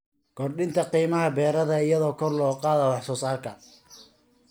Kordhinta qiimaha beeraha iyadoo kor loo qaadayo wax soo saarka.